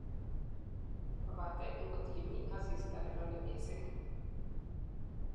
Kopate ngot imii asista ne lole missing' ii.